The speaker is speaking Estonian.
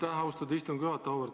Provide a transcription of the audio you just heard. Aitäh, austatud istungi juhataja!